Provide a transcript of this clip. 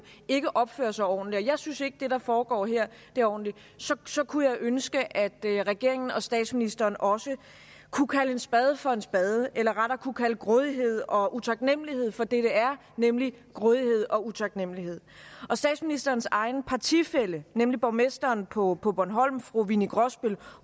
ikke opfører sig ordentligt og jeg synes ikke at det der foregår her er ordentligt så kunne jeg ønske at regeringen og statsministeren også kunne kalde en spade for en spade eller rettere kunne kalde grådighed og utaknemmelighed for det det er nemlig grådighed og utaknemmelighed statsministerens egen partifælle nemlig borgmesteren på på bornholm winni grosbøll